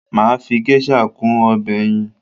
Mà á fi geisha kún ọbẹ̀ ẹyin